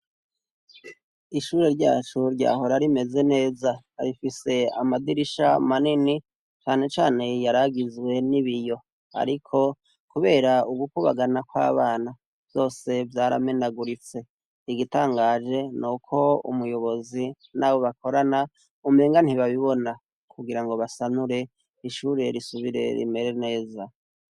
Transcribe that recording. Ishure ryacu ryahora rimeze neza, rifise amadirisha manini cane cane yaragizwe n'ibiyo ariko kubera ugukubagana kw'abana, vyose vyaramenaguritse igitanganje nuko umuyobozi n'abo bakorana umenga ntibabibona kugira ngo basanure ishure risubire rimere neza.